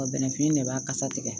bɛnɛfin de b'a kasa tigɛ